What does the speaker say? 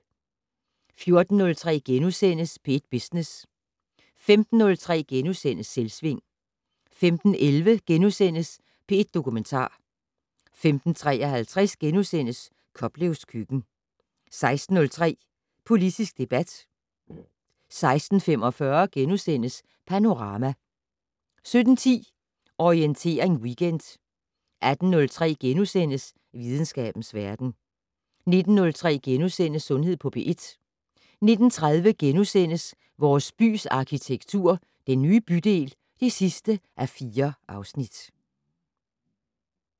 14:03: P1 Business * 15:03: Selvsving * 15:11: P1 Dokumentar * 15:53: Koplevs køkken * 16:03: Politisk debat 16:45: Panorama * 17:10: Orientering Weekend 18:03: Videnskabens verden * 19:03: Sundhed på P1 * 19:30: Vores bys arkitektur - Den nye bydel (4:4)*